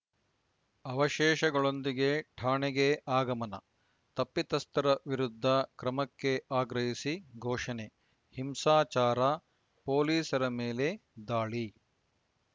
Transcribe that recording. ಅವಶೇಷಗಳೊಂದಿಗೆ ಠಾಣೆಗೆ ಆಗಮನ ತಪ್ಪಿತಸ್ಥರ ವಿರುದ್ಧ ಕ್ರಮಕ್ಕೆ ಆಗ್ರಹಿಸಿ ಘೋಷಣೆ ಹಿಂಸಾಚಾರ ಪೊಲೀಸರ ಮೇಲೆ ದಾಳಿ